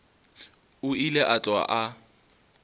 o ile a tloga a